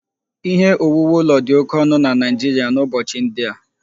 Ihe owuwu ụlọ dị oke ọnụ na Naịjirịa n'ụbọchị ndị a